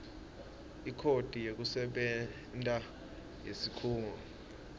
ikhodi yekusebenta yesikhungo